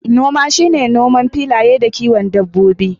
Noma shine noman filaye da kiwon dabbobi.